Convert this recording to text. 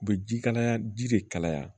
U bɛ ji kalaya ji de kalaya